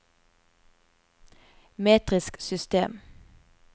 metrisk system